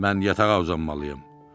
Mən yatağa uzanmalıyam.